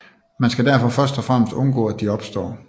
Man skal derfor først og fremmest undgå at de opstår